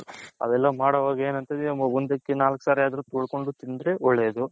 ಅವೆಲ್ಲ ಮಾಡೋವಾಗ ಒಂದ್ ಆಕ್ಕಿ ನಾಲಕ್ ಸರಿ ಅದ್ರು ತೊಳ್ಕೊಂಡ್ ತಿಂದರೆ ಒಳ್ಳೇದು.